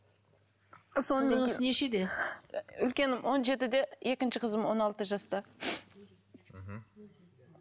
нешеде үлкенім он жетіде екінші қызым он алты жаста мхм